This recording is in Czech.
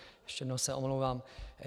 Ještě jednou se omlouvám.